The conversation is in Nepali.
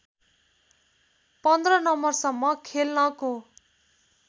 १५ नम्बरसम्म खेल्नको